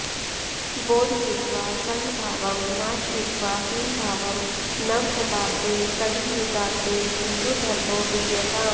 बोधयित्वा सङ्घभावं नाशयित्वा हीनभावं नवशताब्दे कलीयुगाब्दे हिन्दुधर्मो विजयताम्